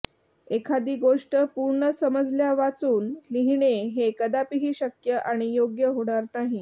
एखादी गोष्ट पूर्ण समजल्यावाचून लिहिणे हे कदापिही शक्य आणि योग्य होणार नाही